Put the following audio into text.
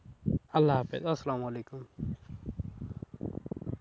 আল্লাহ হাফিস, আসলাম ওয়ালিকুম।